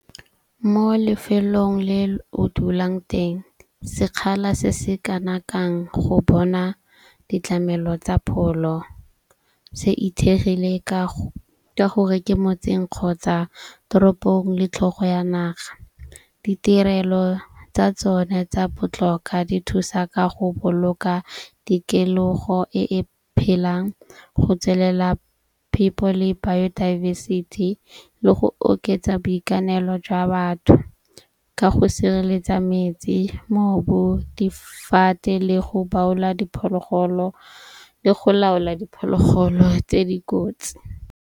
Mo lefelong le o dulang teng sekgala se se kanakang go bona ditlamelo tsa pholo se itshegile ka gore ke motseng kgotsa toropong le tlhogo ya naga. Ditirelo tsa tsone tsa botlhokwa di thusa ka go boloka tikologo e e phelang go tswelela phepho le bio diversity le go oketsa boikanelo jwa batho, ka go sireletsa metsi, mobu, difate le go diphologolo le go laola diphologolo tse dikotsi.